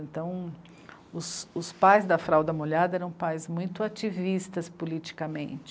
Então os, os pais da fralda molhada eram pais muito ativistas politicamente.